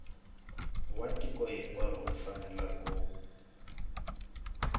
wa tiko hinkwaro u fanele